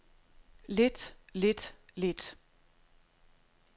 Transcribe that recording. lidt lidt lidt